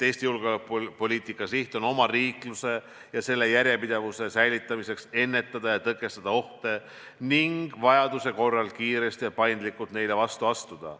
Eesti julgeolekupoliitika siht on omariikluse ja selle järjepidevuse säilitamiseks ennetada ja tõkestada ohte ning vajaduse korral kiiresti ja paindlikult neile vastu astuda.